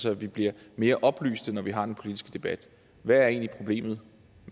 at vi bliver mere oplyste når vi har den politiske debat hvad er egentlig problemet